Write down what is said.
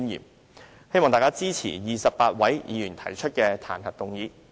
我希望大家支持28位議員提出的彈劾議案。